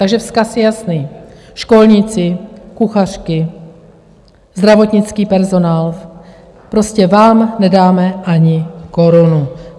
Takže vzkaz je jasný: Školníci, kuchařky, zdravotnický personál - prostě vám nedáme ani korunu.